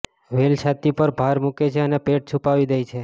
વેલ છાતી પર ભાર મૂકે છે અને પેટ છુપાવી દે છે